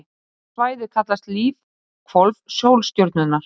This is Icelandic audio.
Þetta svæði kallast lífhvolf sólstjörnunnar.